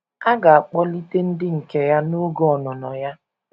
A ga - akpọlite ndị nke ya n’oge ọnụnọ ya.